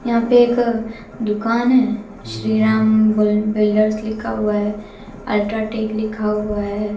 यहां पे एक दुकान है श्री राम बल बिल्डर्स लिखा हुआ है अल्ट्राटेक लिखा हुआ है।